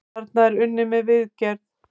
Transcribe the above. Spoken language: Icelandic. Þarna er unnið að viðgerð.